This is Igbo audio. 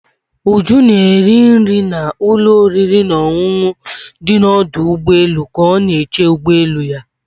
Ụjụ na-eri nri na ụlọ oriri na ọṅụṅụ dị na ọdụ ụgbọelu ka ọ na-eche ụgbọ elu ya.